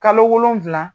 Kalo wolonfila